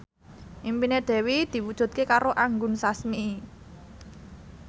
impine Dewi diwujudke karo Anggun Sasmi